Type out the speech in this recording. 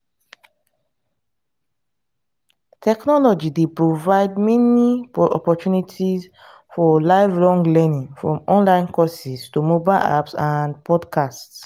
technology dey provide many opportunities for lifelong learning from online courses to mobile apps and podcasts.